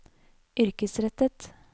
yrkesrettet